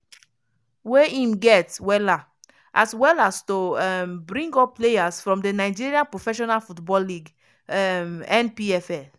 wey im get wella as well as to um bring up players from di nigeria professional football league um (npfl).